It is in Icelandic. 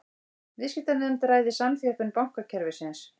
Viðskiptanefnd ræði samþjöppun bankakerfisins